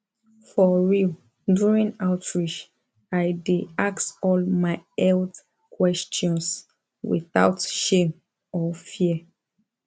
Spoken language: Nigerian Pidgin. for real during outreach i dey ask all my health questions without shame or fear